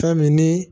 Fɛn min ni